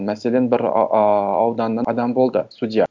мәселен бір ыыы ауданнан адам болды судья